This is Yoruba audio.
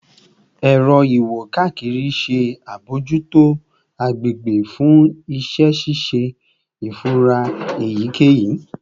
Ẹrọ iwo-kakiri ṣe abojuto agbegbe fun iṣẹ ṣiṣe ifura eyikeyi